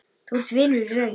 Þú ert vinur í raun.